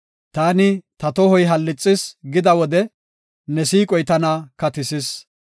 Taani, “Ta tohoy hallixis” gida wode, ne siiqoy tana katisis.